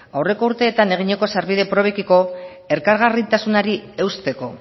aurreko urteetan eginiko sarbide probekiko elkargarritasunari eusteko